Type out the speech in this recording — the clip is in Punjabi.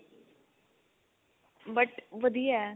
but ਵਧੀਆ